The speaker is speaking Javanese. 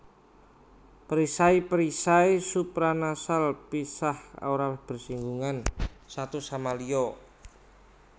Perisai perisai supranasal pisah ora bersing gungan satu sama liya